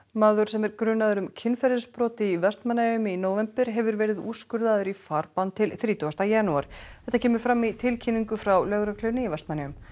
maður sem er grunaður um kynferðisbrot í Vestmannaeyjum í nóvember hefur verið úrskurðaður í farbann til þrítugasta janúar þetta kemur fram í tilkynningu frá Lögreglunni í Vestmannaeyjum